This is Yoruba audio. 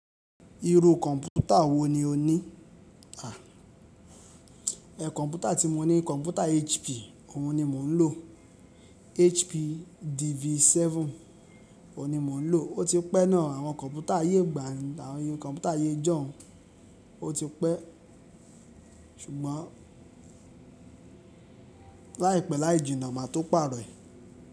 Irú kọ̀ǹpútà wo ni o ní? À, ẹ̀ kọ̀ǹpútà tí mo ní kọ̀ǹpútà HP, òun ni mò ń lò, HP DV7 òun ni mò ń lò, ó ti pẹ́ náà, àwọn kọ̀ǹpútà ayé ìgbàanì àwọn kọ̀ǹpútà ayé ìjọ̀ún ó ti pẹ́ ṣùgbọ́n láìpẹ́ láì jìnnà màá tó pàrọ̀ ẹ̀.